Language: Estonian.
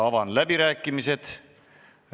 Avan läbirääkimised.